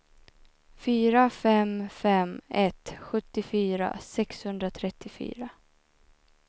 fyra fem fem ett sjuttiofyra sexhundratrettiofyra